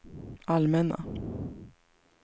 allmänna